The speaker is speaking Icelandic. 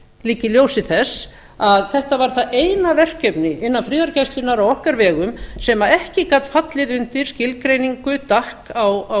líka í ljósi þess að þetta var það eina verkefni innan friðargæslunnar á okkar vegum sem ekki gat fallið undir skilgreiningu gatt á